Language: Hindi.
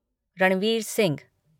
रणवीर सिंह